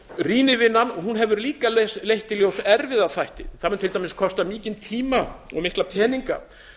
rýnivinnan hefur líka leitt í ljós erfiða þætti það mun til dæmis kosta mikinn tíma og mikla peninga